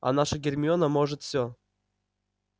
а наша гермиона может всё